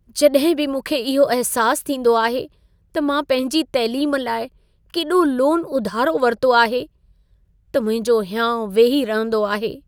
जॾहिं बि मूंखे इहो अहिसासु थींदो आहे त मां पंहिंजी तैलीम लाइ केॾो लोन उधारो वरितो आहे, त मुंहिंजो हियाउं वेही रहंदो आहे।